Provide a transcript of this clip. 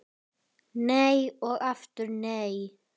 Nei og aftur nei!